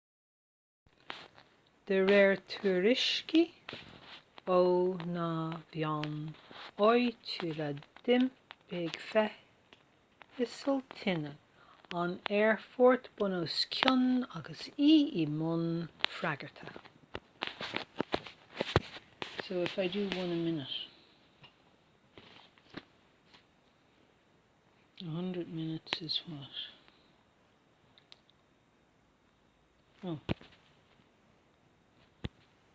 de réir tuairiscí ó na meáin áitiúla d'iompaigh feithicil tine an aerfoirt bunoscionn agus í i mbun freagartha